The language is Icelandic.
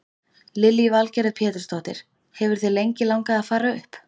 Lillý Valgerður Pétursdóttir: Hefur þig lengi langað að fara upp?